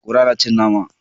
Kura na cin nama.